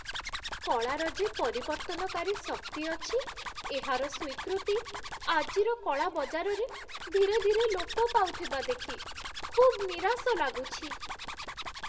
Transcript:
କଳାର ଯେ ପରିବର୍ତ୍ତନକାରୀ ଶକ୍ତି ଅଛି, ଏହାର ସ୍ୱୀକୃତି ଆଜିର କଳା ବଜାରରେ ଧୀରେ ଧୀରେ ଲୋପ ପାଉଥିବା ଦେଖି ଖୁବ ନିରାଶ ଲାଗୁଛି।